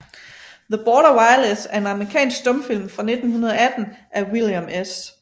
The Border Wireless er en amerikansk stumfilm fra 1918 af William S